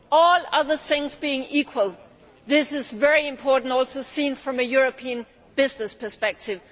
All other things being equal, this is also very important when seen from a European business perspective.